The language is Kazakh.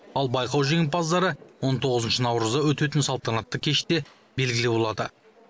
ал байқау жеңімпаздары он тоғызыншы наурызда өтетін салтанатты кеште белгілі болады